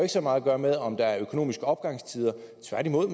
så meget at gøre med om der er økonomiske opgangstider tværtimod